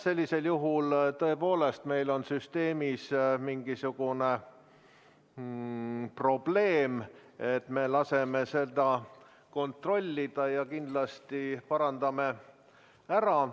Sellisel juhul tõepoolest on meil süsteemis mingisugune probleem, me laseme seda kontrollida ja kindlasti parandame ära.